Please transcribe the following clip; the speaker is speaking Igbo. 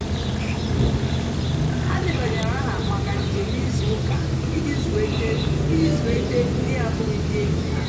ha dèbányèrè àha maka njèm ìzùù ụ́ka ijì zùétè ijì zùétè ndì na-àbụ́ghì ndì ényì ha.